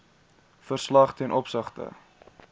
verslag ten opsigte